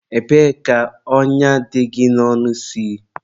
ebee ka ọnya dị gị n'ọnụ si?